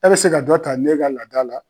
E bi se ka dɔ ta ne ka laada la